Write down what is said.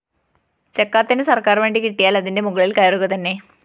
ചക്കാത്തിന് സര്‍ക്കാറു വണ്ടി കിട്ടിയാല്‍ അതിന്റെ മുകളില്‍ കയറുകതന്നെ